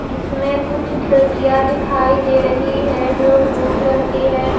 जिसमें कुछ खिड़कियां दिखाई दे रही है जो ब्लू कलर की है।